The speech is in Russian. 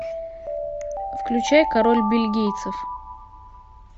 включай король бельгийцев